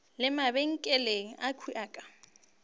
le mabenkele akhwi a ka